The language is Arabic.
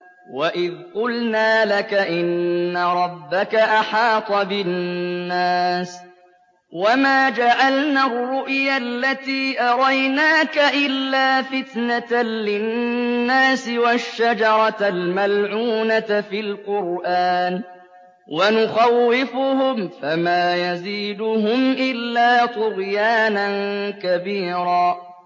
وَإِذْ قُلْنَا لَكَ إِنَّ رَبَّكَ أَحَاطَ بِالنَّاسِ ۚ وَمَا جَعَلْنَا الرُّؤْيَا الَّتِي أَرَيْنَاكَ إِلَّا فِتْنَةً لِّلنَّاسِ وَالشَّجَرَةَ الْمَلْعُونَةَ فِي الْقُرْآنِ ۚ وَنُخَوِّفُهُمْ فَمَا يَزِيدُهُمْ إِلَّا طُغْيَانًا كَبِيرًا